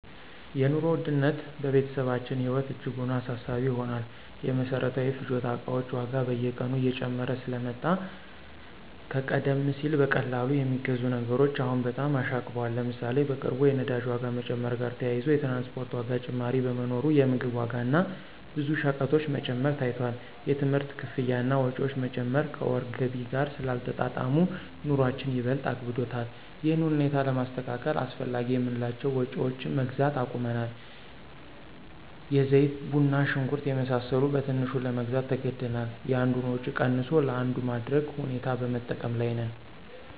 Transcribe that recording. የኑሮ ውድነት በቤተሰባችን ህይወት እጅጉን አሳሳቢ ሆኗል። የመሰረታዊ ፍጆታ እቃዎች ዋጋ በየቀኑ እየጨመረ ስለመጣ ከቀደም ሲል በቀላሉ የሚገዙ ነገሮች አሁን በጣም አሻቅበዋል። ለምሳሌ፣ በቅርቡ የነዳጅ ዋጋ መጨመር ጋር ተያይዞ የትራንስፖርት ዋጋ ጭማሪ በመኖሩ የምግብ ዋጋ እና ብዙ ሸቀጦች መጨመር ታይቷል። የትምህርት ክፍያ እና ወጪዎች መጨመር ከወር ገቢ ጋር ስላልተጣጣሙ፣ ኑሮአችን ይበልጥ አክብዶታል። ይህን ሁኔታ ለማስተካከል አላስፈላጊ የምንላቸውን ወጭዎች መግዛት አቁመናል። የዘይት፣ ቡና፣ ሽንኩርት የመሳሰሉ በትንሹ ለመግዛት ተገደናል። የአንዱን ወጭ ቀንሶ ለአንዱ ማድረግ ሁኔታ በመጠቀም ላይ ነን።